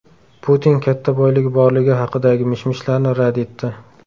Putin katta boyligi borligi haqidagi mish-mishlarni rad etdi.